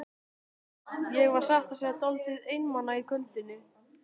Ég var satt að segja dálítið einmana á kvöldin.